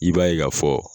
I b'a ye k'a fɔ